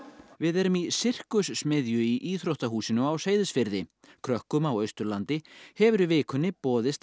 við erum í í íþróttahúsinu á Seyðisfirði krökkum á Austurlandi hefur í vikunni boðist að